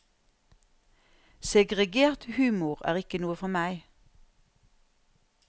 Segregert humor er ikke noe for meg.